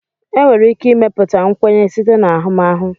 enwere ike ịmepụta nkwenye site na ahụmahụ